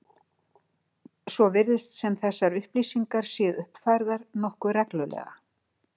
Svo virðist sem þessar upplýsingar séu uppfærðar nokkuð reglulega.